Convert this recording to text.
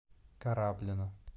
кораблино